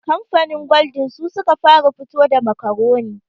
Kamfanin gwaldin su suka fara fito da makaroni